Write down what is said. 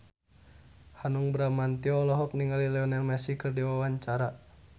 Hanung Bramantyo olohok ningali Lionel Messi keur diwawancara